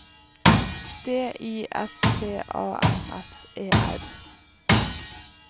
D I S T A N S E R